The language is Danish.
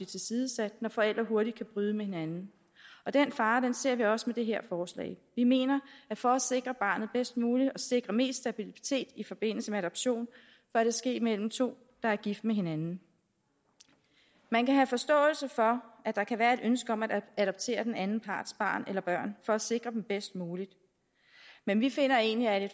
tilsidesat når forældre hurtigt kan bryde med hinanden og den fare ser vi også med det her forslag vi mener at for at sikre barnet bedst muligt og sikre mest stabilitet i forbindelse med adoption bør det ske mellem to der er gift med hinanden man kan have forståelse for at der kan være et ønske om at adoptere den anden parts barn eller børn for at sikre dem bedst muligt men vi finder egentlig at